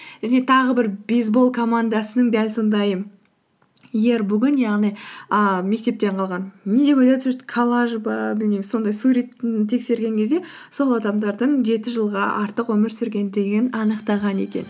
және тағы бір бейсбол командасының дәл сондай иербугын яғни ііі мектептен қалған не деп коллаж ба білмеймін сондай суретін тексерген кезде сол адамдардың жеті жылға артық өмір сүрген дегенін анықтаған екен